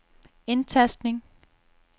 indtastning